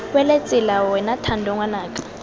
wele tsela wena thando ngwanaka